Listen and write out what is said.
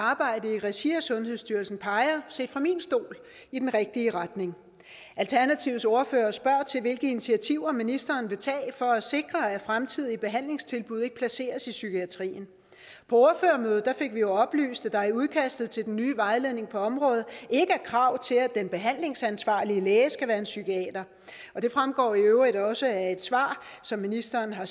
arbejde i regi af sundhedsstyrelsen peger set fra min stol i den rigtige retning alternativets ordfører spørger til hvilke initiativer ministeren vil tage for at sikre at fremtidige behandlingstilbud ikke placeres i psykiatrien på ordførermødet fik vi jo oplyst at der i udkastet til den nye vejledning på området ikke er krav til at den behandlingsansvarlige læge skal være en psykiater og det fremgår i øvrigt også af et svar som ministeren har